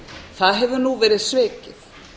það hefur nú verið svikið